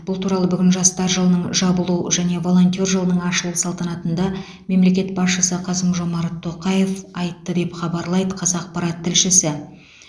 бұл туралы бүгін жастар жылының жабылу және волонтер жылының ашылу салтанатында мемлекет басшысы қасым жомарт тоқаев айтты деп хабарлайды қазақпарат тілшісі